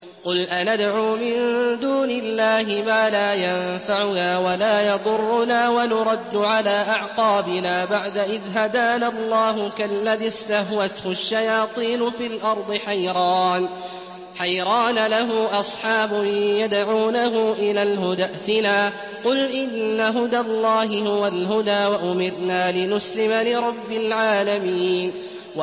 قُلْ أَنَدْعُو مِن دُونِ اللَّهِ مَا لَا يَنفَعُنَا وَلَا يَضُرُّنَا وَنُرَدُّ عَلَىٰ أَعْقَابِنَا بَعْدَ إِذْ هَدَانَا اللَّهُ كَالَّذِي اسْتَهْوَتْهُ الشَّيَاطِينُ فِي الْأَرْضِ حَيْرَانَ لَهُ أَصْحَابٌ يَدْعُونَهُ إِلَى الْهُدَى ائْتِنَا ۗ قُلْ إِنَّ هُدَى اللَّهِ هُوَ الْهُدَىٰ ۖ وَأُمِرْنَا لِنُسْلِمَ لِرَبِّ الْعَالَمِينَ